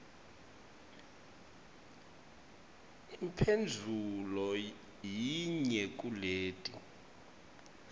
imphendvulo yinye kuleti